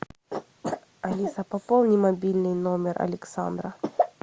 алиса пополни мобильный номер александра